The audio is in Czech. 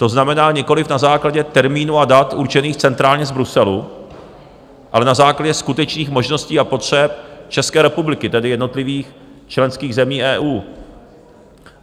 To znamená, nikoliv na základě termínů a dat určených centrálně z Bruselu, ale na základě skutečných možností a potřeb České republiky, tedy jednotlivých členských zemí EU.